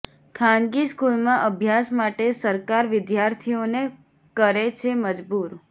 ખાનગી સ્કૂલમાં અભ્યાસ માટે સરકાર વિદ્યાર્થીઓને કરે છે મજબૂર